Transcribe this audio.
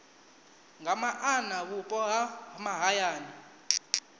nga maana vhupo ha mahayani